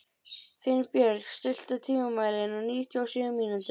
Finnbjörg, stilltu tímamælinn á níutíu og sjö mínútur.